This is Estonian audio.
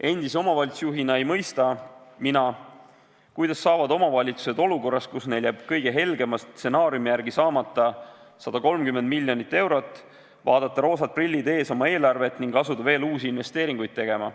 Endise omavalitsusjuhina ei mõista mina, kuidas saavad omavalitsused olukorras, kus neil jääb kõige helgema stsenaariumi järgi saamata 130 miljonit eurot, vaadata, roosad prillid ees, oma eelarvet ning asuda veel uusi investeeringuid tegema.